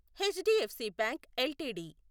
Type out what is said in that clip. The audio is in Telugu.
HDFC bank LTD